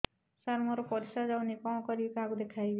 ସାର ମୋର ପରିସ୍ରା ଯାଉନି କଣ କରିବି କାହାକୁ ଦେଖେଇବି